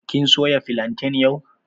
Kin soya filantan yau?